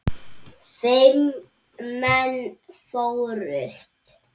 Fimm menn fórust.